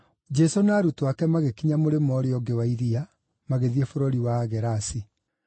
Jesũ na arutwo ake magĩkinya mũrĩmo ũũrĩa ũngĩ wa iria, magĩthiĩ bũrũri wa Agerasi.